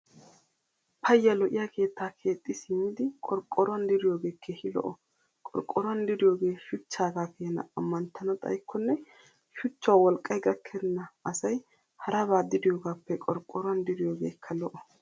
Payya lo"iyaa keettaa keexxi simmidi qorqqoruwan diriyoogee keehi lo"o. Qorqqoruwan diriyoogee shuchchaagaa keena ammanttana xayikkonne shuchawu wolqqay gakkenna asay haraban diriyoogaappe qorqqoruwan diriyoogeekka lo"o.